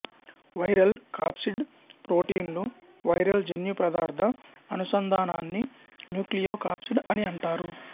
viral capsid ప్రోటీన్లు viral జన్యు పదార్థ అనుసంధానాన్ని న్యూక్లియో కాప్సిడ్ అని అంటారు